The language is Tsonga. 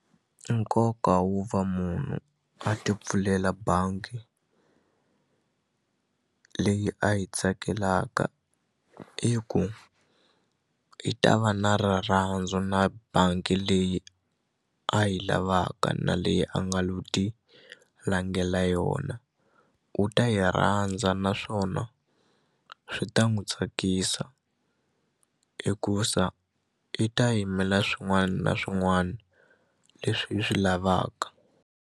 Nkoka wo va munhu a ti pfulela bangi leyi a yi tsakelaka i ku i ta va na rirhandzu na bangi leyi a yi lavaka na leyi a nga lo ti langela yona u ta yi rhandza naswona swi ta n'wi tsakisa hikusa i ta yimela swin'wani na swin'wani leswi yi swi lavaka.